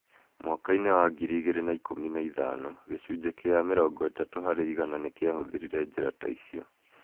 Mwaka-inĩ wa 2015, gĩcunjĩ kĩa 30 harĩ igana nĩ kĩahũthĩrire njĩra ta icio.